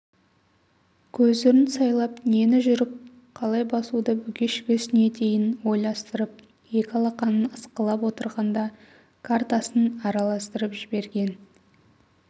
көзірін сайлап нені жүріп қалай басуды бүге-шігесіне дейін ойластырып екі алақанын ысқылап отырғанда картасын араластырып жіберген